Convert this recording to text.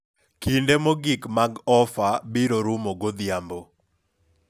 kinde mogik mag ofa. obiro rumo godhiambo